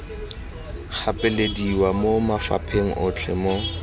gapelediwa mo mafapheng otlhe mo